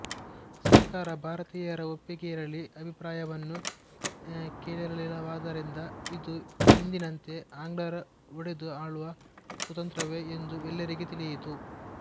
ಸರ್ಕಾರ ಭಾರತೀಯರ ಒಪ್ಪಿಗೆಯಿರಲಿ ಅಭಿಪ್ರಾಯವನ್ನೂ ಕೇಳಿರಲಿಲ್ಲವಾದ್ದರಿಂದ ಇದು ಎಂದಿನಂತೆ ಆಂಗ್ಲರ ಒಡೆದು ಆಳುವ ಕುತಂತ್ರವೇ ಎಂದು ಎಲ್ಲರಿಗೆ ತಿಳಿಯಿತು